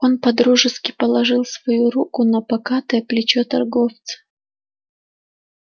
он по-дружески положил свою руку на покатое плечо торговца